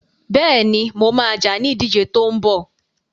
Bẹ́ẹ̀ni, mo ma jà ní ìdíje tó ń bọ̀